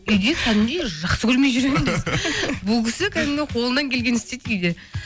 үйде кәдімгідей жақсы көрмей жүремін десең бұл кісі кәдімгі қолынан келгенін істейді үйде